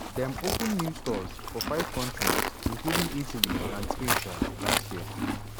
dem open new stores for five countries including italy and spain um last year.